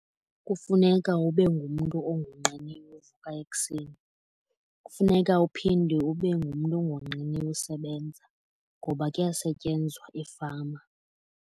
Kufuneka ube ngumntu ongonqeniyo uvuka ekuseni. Kufuneka uphinde ube ngumntu ongonqeniyo usebenza ngoba kuyasetyenzwa efama.